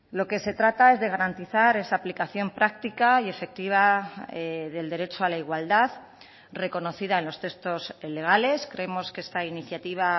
lo que se trata es de garantizar esa aplicación práctica y efectiva del derecho a la igualdad reconocida en los textos legales creemos que esta iniciativa